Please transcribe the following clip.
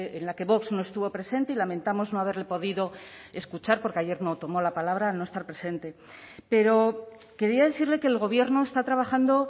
en la que vox no estuvo presente y lamentamos no haberle podido escuchar porque ayer no tomó la palabra al no estar presente pero quería decirle que el gobierno está trabajando